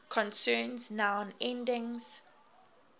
concerns noun endings